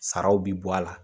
Saraw bi bɔ a la.